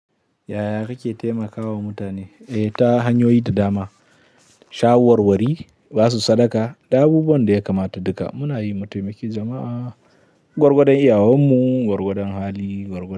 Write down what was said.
Yaya kake taimakawa mutane ta hanyoyi da dama? Sha warwari, basu sadaka da abubuwan da ya kamata duka muna yi mutaimaki jama'a, gwargwadon iyawanmu, gwargwadon hali, gwargwadon.